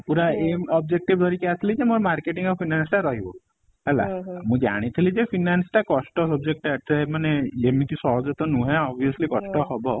ପୁରା aim objective ଧରିକି ଆସିଥିଲି କି ଯେ ମୋର marketing finance ରହିବ ହେଲା ମୁଁ ଜାଣି ଥିଲି ଯେ finance ଟା କଷ୍ଟ subject ଟା ଏତେ ମାନେ ଏମିତି ସହଜ ତ ନୁହେଁ obviously କଷ୍ଟ ହବ